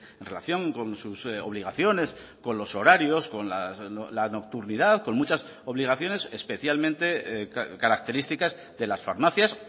en relación con sus obligaciones con los horarios con la nocturnidad con muchas obligaciones especialmente características de las farmacias